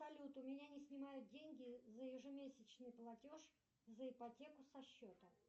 салют у меня не снимают деньги за ежемесячный платеж за ипотеку со счета